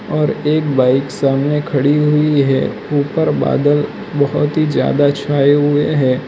और एक बाइक सामने खड़ी हुई है ऊपर बादल बहुत ही ज्यादा छाए हुए है।